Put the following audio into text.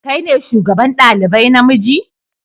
Kai ne shugaban dalibai na miji?